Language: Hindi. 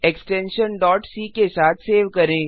एक्सटेंशन c के साथ सेव करें